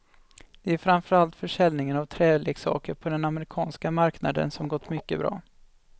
Det är framför allt försäljningen av träleksaker på den amerikanska marknaden som gått mycket bra.